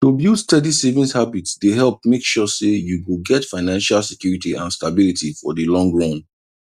to build steady savings habit dey help make sure say you go get financial security and stability for the long run